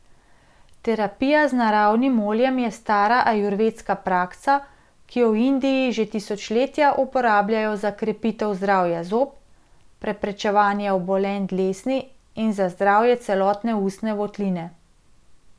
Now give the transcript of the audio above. Terapija z naravnim oljem je stara ajurvedska praksa, ki jo v Indiji že tisočletja uporabljajo za krepitev zdravja zob, preprečevanje obolenj dlesni in za zdravje celotne ustne votline.